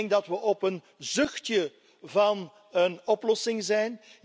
Ik denk dat we op een zuchtje van een oplossing zijn.